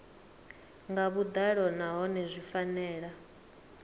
nga vhuḓalo nahone zwi fanela